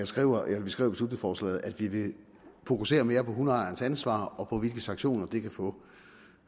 skriver i beslutningsforslaget at vi vil fokusere mere på hundeejernes ansvar og på hvilke sanktioner de kan få